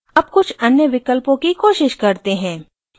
अब कुछ अन्य विकल्पों की कोशिश करते हैं